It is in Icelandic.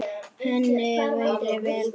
Henni væri vel borgið.